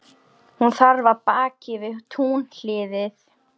Hún þarf af baki við túnhliðið.